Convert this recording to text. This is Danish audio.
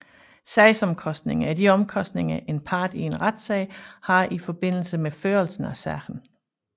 Sagsomkostninger er de omkostninger en part i en retssag har i forbindelse med førelse af sagen